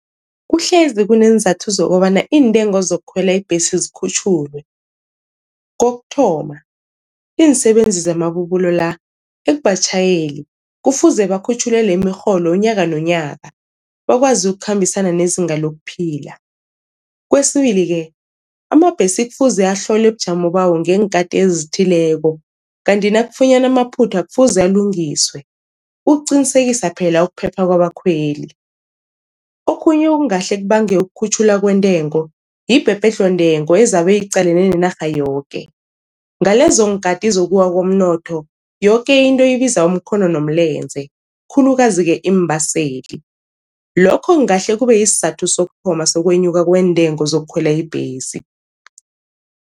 Kuhlezi kuneenzathu zokobana iintengo zokukhwela ibhesi zikhutjhulwe. Kokuthoma iinsebenzi zamabubulo la ekubatjhayeli kufuze bakhutjhulelwe imirholo unyaka nonyaka bakwazi ukukhambisana nezinga lokuphila. Kwesibili-ke amabhesi kufuze ahlolwe ubujamo bawo ngeenkhati ezithileko kanti nakufunyanwa amaphutha kufuze alungiswe, ukuqinisekisa phela ukuphepha kwabakhweli. Okhunye okungahle kubange ukukhutjhulwa kwentengo yibhebhedlho-ntengo ezabe iqalene nenarha yoke, ngalezonkhati zokuwa komnotho yoke into ibiza umkhono nomlenze khulukazi-ke iimbaseli. Lokho kungahle kube isizathu sokuthoma sokwenyuka kweentengo zokukhwela ibhesi.